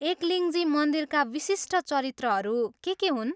एकलिङ्जी मन्दिरका विशिष्ट चरित्रहरू के के हुन्?